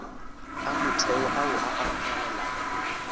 a motheo ao a amogelegago